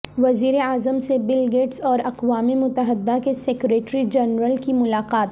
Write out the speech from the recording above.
وزیراعظم سے Bill Gates اور اقوام متحدہ کے سیکرٹری جنرل کی ملاقات